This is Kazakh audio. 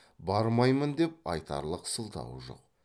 бармаймын деп айтарлық сылтауы жоқ